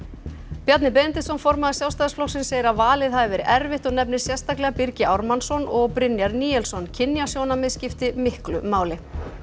Bjarni Benediktsson formaður Sjálfstæðisflokksins segir að valið hafi verið erfitt og nefnir sérstaklega Birgi Ármannsson og Brynjar Níelsson kynjasjónarmið skipti miklu máli